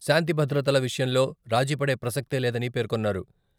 శాంతిభద్రతల విషయంలో రాజీపడే ప్రసక్తే లేదని పేర్కొన్నారు.